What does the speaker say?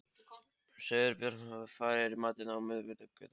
Sigurbjörn, hvað er í matinn á miðvikudaginn?